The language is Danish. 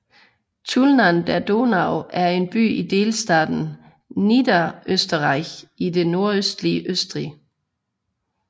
Tulln an der Donau er en by i delstaten Niederösterreich i det nordøstlige Østrig